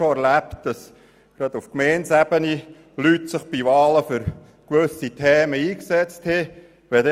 Ich habe es schon erlebt, dass sich Leute auf Gemeindebene im Rahmen der Wahlen für gewisse Themen eingesetzt haben.